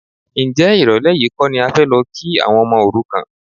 Ǹjẹ́ ìrọ̀lẹ́ yìí kọ́ ni a fẹ́ lọ kí àwọn ọmọ òrukàn?